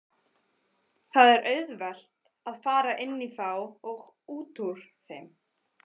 Það er auðvelt að fara inní þá og útúr þeim.